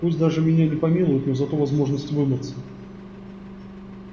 пусть даже меня не помилуют но зато возможность вымыться